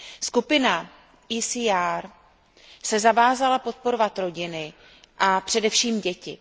Skupina ECR se zavázala podporovat rodiny a především děti.